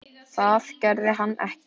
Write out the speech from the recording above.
Það gerði hann ekki.